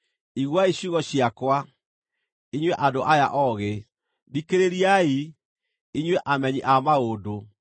“Iguai ciugo ciakwa, inyuĩ andũ aya oogĩ; thikĩrĩriai, inyuĩ amenyi a maũndũ.